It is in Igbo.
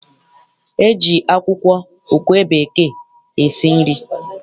E ji akwụkwọ okwe bekee esi nri.